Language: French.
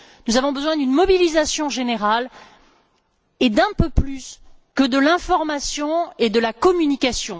Nous avons besoin d'une mobilisation générale et d'un peu plus que de l'information et de la communication.